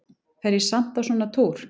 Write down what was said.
Fer ég samt á svona túr?